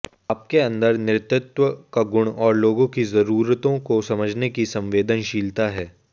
आपके अंदर नेतृत्व का गुण और लोगों की ज़रूरतों को समझने की संवेदनशीलता है